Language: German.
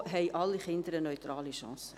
So haben alle Kinder eine neutrale Chance.